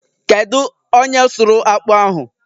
Kedu onye sụrụ akpụ ahụ?